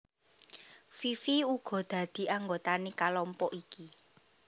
Fifi uga dadi anggotané kalompok iki